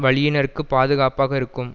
வழியினர்க்குப் பாதுகாப்பாக இருக்கும்